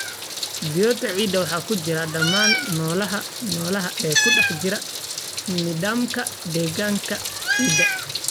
biota ciidda waxa ku jira dhammaan noolaha noolaha ee ku dhex jira nidaamka deegaanka ciidda.